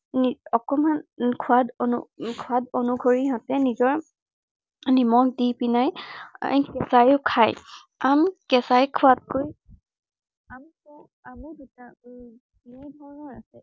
উম অকনমান উম সোঁৱাদ সোঁৱাদ অনুসৰি নিজৰ নিমখ দি পিনে কেঁচাইও খায়। আম কেঁচাই খোৱাতকৈ আমটো বেলেগ ধৰনৰ আছে।